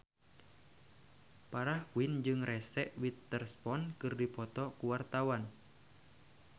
Farah Quinn jeung Reese Witherspoon keur dipoto ku wartawan